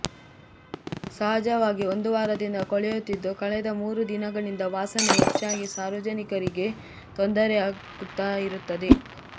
ಸಹಜವಾಗಿ ಒಂದು ವಾರದಿಂದ ಕೊಳೆಯುತ್ತಿದ್ದು ಕಳೆದ ಮೂರೂ ದಿನಗಳಿಂದ ವಾಸನೆ ಹೆಚ್ಚಾಗಿ ಸಾರ್ವಜನಿಕರಿಗೆ ತೊಂದರೆಯಾಗುತ್ತ ಇರುತ್ತದೆ